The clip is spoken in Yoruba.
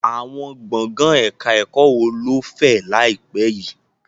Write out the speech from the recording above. Àwọn gbọ̀ngàn ẹ̀ka ẹ̀kọ́ wo ló fẹ̀ láìpẹ́ yìí?